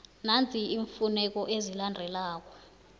nanzi iimfuneko ezilandelako